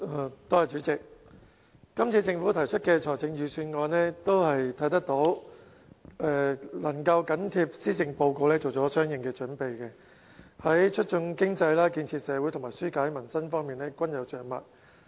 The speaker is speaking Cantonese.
我們可以看到，政府這次提出的財政預算案，能夠緊貼施政報告作出相應準備，在促進經濟、建設社會和紓解民生方面均有着墨。